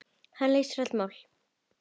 Hann leysir öll mál.